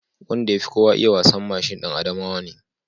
Wanda ya fi kowa iya wasan mashin ɗan Adamawa ne